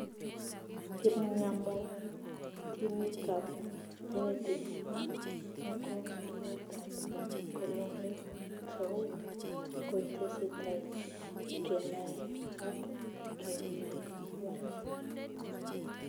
Kipng'amotinicab genetics eng' mokongiotab colorectal kotesetai kenae ak keelewani